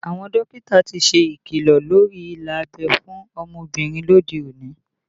Àwọn dókítà ti ṣe ikilọ lórí ilà abẹ́ fún ọmọbìnrin lóde òní